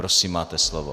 Prosím, máte slovo.